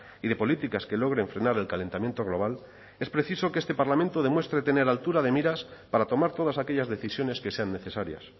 y de políticas que logren frenar el calentamiento global es preciso que este parlamento demuestre tener altura de miras para tomar todas aquellas decisiones que sean necesarias